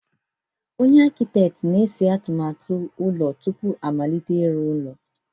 Onye Akịteet na-ese atụmatụ ụlọ tupu a amalite ịrụ ụlọ.